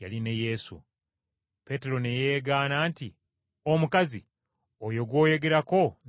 Peetero ne yeegaana nti, “Omukazi, oyo gw’oyogerako nze simumanyi.”